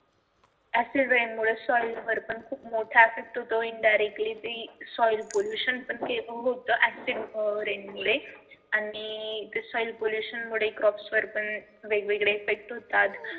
acid rain मुळे soil वर पण मोठा effect होतो indirectly ते soil pollution पण होत acid rain मुळे आणि soil pollution मुळे crops वर पण वेगवेगळे effect होतात.